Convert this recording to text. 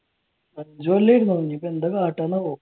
അഞ്ചു കൊല്ലം ഇല്ല ഇനിയിപ്പോ എന്താ കാട്ടാന്ന് ആവോ